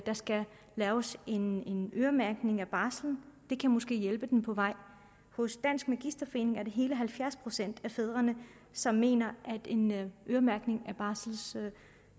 der skal laves en øremærkning af barslen det kan måske hjælpe dem på vej hos dansk magisterforening er det hele halvfjerds procent af fædrene som mener at en øremærkning